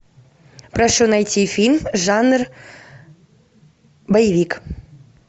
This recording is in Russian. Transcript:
прошу найти фильм жанр боевик